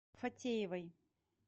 фатеевой